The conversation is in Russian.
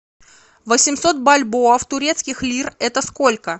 восемьсот бальбоа в турецких лир это сколько